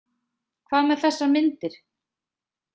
Hvað með þessar myndir?